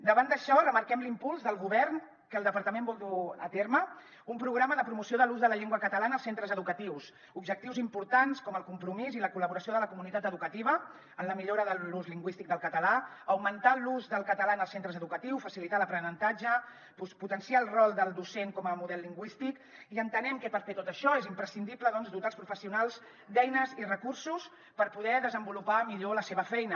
davant d’això remarquem l’impuls del govern que el departament vol dur a terme un programa de promoció de l’ús de la llengua catalana als centres educatius objectius importants com el compromís i la col·laboració de la comunitat educativa en la millora de l’ús lingüístic del català augmentar l’ús del català en els centres educatius facilitar ne l’aprenentatge potenciar el rol del docent com a model lingüístic i entenent que per fer tot això és imprescindible doncs dotar els professionals d’eines i recursos per poder desenvolupar millor la seva feina